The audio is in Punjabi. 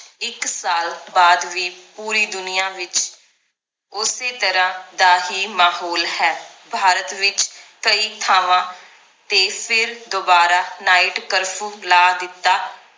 ਇੱਕ ਸਾਲ ਬਾਅਦ ਵੀ ਪੂਰੀ ਦੁਨੀਆਂ ਵਿਚ ਉਸੇ ਤਰਾਹ ਦਾ ਹੀ ਮਾਹੌਲ ਹੈ ਭਾਰਤ ਵਿਚ ਕਈ ਥਾਵਾਂ ਤੇ ਫਿਰ ਦੋਬਾਰਾ night curfew ਲਾ ਦਿੱਤਾ